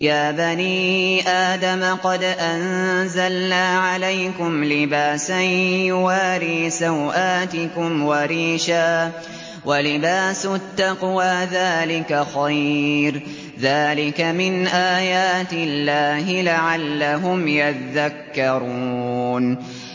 يَا بَنِي آدَمَ قَدْ أَنزَلْنَا عَلَيْكُمْ لِبَاسًا يُوَارِي سَوْآتِكُمْ وَرِيشًا ۖ وَلِبَاسُ التَّقْوَىٰ ذَٰلِكَ خَيْرٌ ۚ ذَٰلِكَ مِنْ آيَاتِ اللَّهِ لَعَلَّهُمْ يَذَّكَّرُونَ